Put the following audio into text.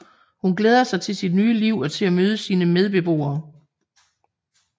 Hun glæder sig til sit nye liv og til at møde sine medbeboere